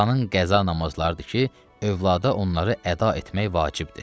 Atanın qəza namazlarıdır ki, övlada onları əda etmək vacibdir.